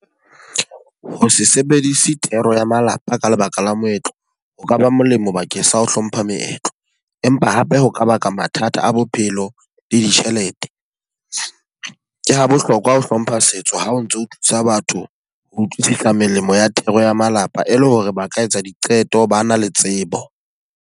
Ho se sebedise thero ya malapa ka lebaka la moetlo, ho kaba molemo bakeng sa ho hlompha meetlo. Empa hape ho ka baka mathata a bophelo le ditjhelete. Ke ha bohlokwa ho hlompha setso ha o ntso o thusa batho ho utlwisisa melemo ya thero ya malapa, e leng hore ba ka etsa diqeto ba na le tsebo.